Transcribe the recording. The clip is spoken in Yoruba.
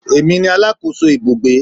Èmi ni alákòóso ibùgbé